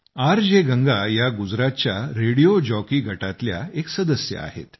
R J Ganga या गुजरातच्या radio jockey गटातल्या एक सदस्य आहेत